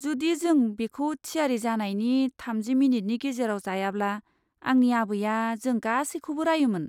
जुदि जों बेखौ थियारि जानायनि थामजि मिनिटनि गेजेराव जायाब्ला आंनि आबैआ जों गासैखौबो रायोमोन।